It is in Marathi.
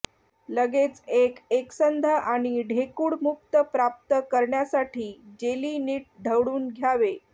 लगेच एक एकसंध आणि ढेकूळ मुक्त प्राप्त करण्यासाठी जेली नीट ढवळून घ्यावे